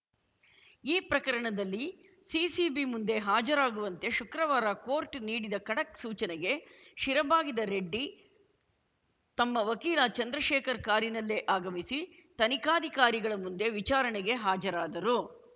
ಈ ಪ್ರಕರಣದಲ್ಲಿ ಸಿಸಿಬಿ ಮುಂದೆ ಹಾಜರಾಗುವಂತೆ ಶುಕ್ರವಾರ ಕೋರ್ಟ್‌ ನೀಡಿದ ಖಡಕ್‌ ಸೂಚನೆಗೆ ಶಿರಬಾಗಿದ ರೆಡ್ಡಿ ತಮ್ಮ ವಕೀಲ ಚಂದ್ರಶೇಖರ್‌ ಕಾರಿನಲ್ಲೇ ಆಗಮಿಸಿ ತನಿಖಾಧಿಕಾರಿಗಳ ಮುಂದೆ ವಿಚಾರಣೆಗೆ ಹಾಜರಾದರು